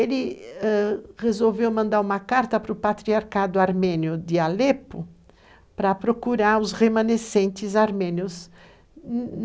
Ele ãh... resolveu mandar uma carta para o Patriarcado Armênio de Alepo para procurar os remanescentes armênios.